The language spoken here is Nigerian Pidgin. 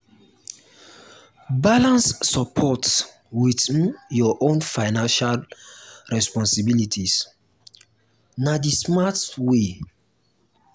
balance support with um your own financial responsibilities; na the smart um way.